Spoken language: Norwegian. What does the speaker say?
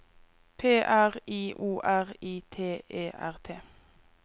P R I O R I T E R T